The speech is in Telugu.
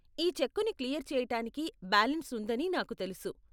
ఈ చెక్కుని క్లియర్ చేయటానికి బ్యాలన్స్ ఉందని నాకు తెలుసు.